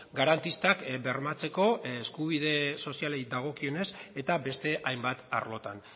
garantistak bermatzeko eskubide sozialei dagokionez eta beste hainbat arlotan